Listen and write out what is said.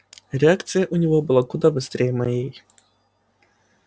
реакция у него была куда быстрее моей